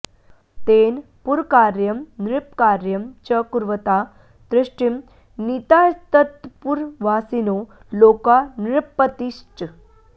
तेन पुरकार्यं नृपकार्यं च कुर्वता तुष्टिं नीतास्तत्पुरवासिनो लोका नृपतिश्च